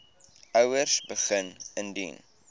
ouers begin indien